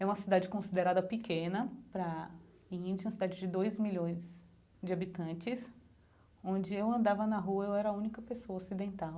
É uma cidade considerada pequena, para a Índia, uma cidade de dois milhões de habitantes, onde eu andava na rua, eu era a única pessoa ocidental.